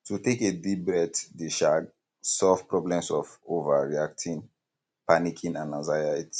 to take a deep breath de um solve problems of overreacting panicing and anxiety